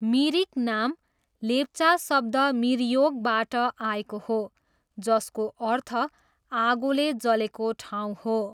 मिरिक नाम लेप्चा शब्द मिरयोकबाट आएको हो जसको अर्थ 'आगोले जलेको ठाउँ' हो।